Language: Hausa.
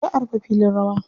Za a rufe filin rawa.